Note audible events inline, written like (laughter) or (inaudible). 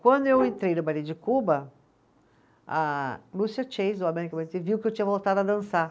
Quando eu entrei no balê de Cuba, a Lúcia (unintelligible) viu que eu tinha voltado a dançar.